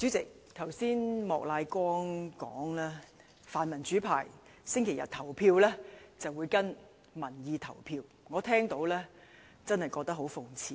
主席，剛才莫乃光議員說，泛民主派星期日會跟隨民意投票，我聽罷真的覺得很諷刺。